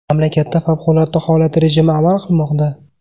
Mamlakatda favqulodda holat rejimi amal qilmoqda.